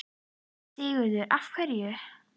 Sigurður: Af hverju?